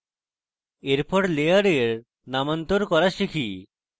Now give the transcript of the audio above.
এরপর learn নামান্তর করা শিখি